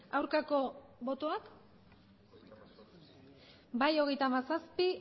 aurkako botoak bai hogeita hamazazpi